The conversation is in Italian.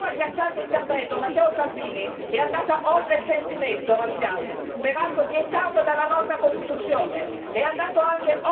Sì, perché nel suo agghiacciante intervento, Matteo Salvini è andato oltre il censimento razziale, peraltro vietato dalla nostra Costituzione